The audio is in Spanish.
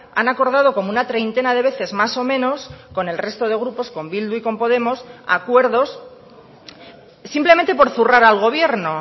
han acordado como una treintena de veces más o menos con el resto de grupos con bildu y con podemos acuerdos simplemente por zurrar al gobierno